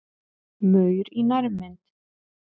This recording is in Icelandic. Maur í nærmynd.